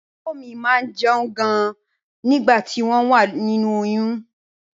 Ìyàwó mi máá ń jẹun gan ni nígbà tí wọ́n wà nínú oyún